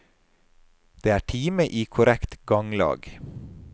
Det er time i korrekt ganglag.